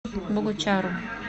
богучару